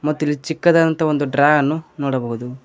ಮತ್ತಿಲ್ಲಿ ಚಿಕ್ಕದಾದಂತಹ ಡ್ರಾ ಅನ್ನು ನೋಡಬಹುದು.